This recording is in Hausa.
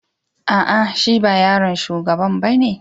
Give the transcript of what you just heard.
Aa, shi ba yaron shugaban ba ne?